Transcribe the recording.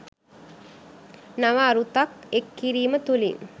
නව අරුතක් එක් කිරීම තුළින්